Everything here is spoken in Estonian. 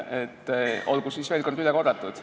Olgu siis veel kord üle korratud.